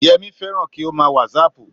Yẹmí fẹ́ràn kí ó mà a wàsáàpù